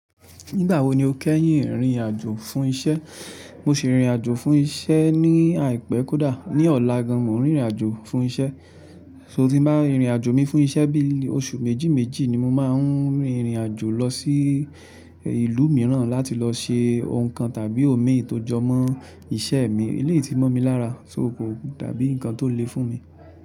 Nígbà wo ni o kẹ́yìn rìnrìn àjò fún isẹ́? Mo sì rìnrìn àjò fún isẹ́ ní àìpẹ́ kódà. Ni ọ̀la gan, mo n rìnrìn àjò fún isẹ́. So tí n bá rìnrìn àjò mi fún isẹ́ bíi oṣù méjì méjì ni mo máa n rìnrìn àjò lọ sí ìlú mìíràn láti lọ se nǹkan tàbí omi tó jọmọ́ isẹ́ mi. Eléyìí ti mọ́ mi lára, so ko dàbí nǹkan tó le fún mi.